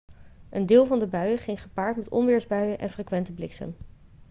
een deel van de buien ging gepaard met onweersbuien en frequente bliksem